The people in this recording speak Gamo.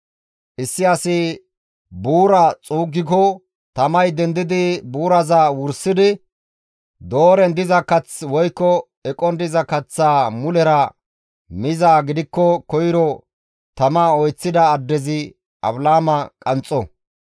«Issi asi buuraa xuuggiko tamay dendidi buuraza wursidi dooren diza kath woykko eqon diza kaththaa mulera mizaa gidikko koyro tama oyththida addezi afilaama qanxxo.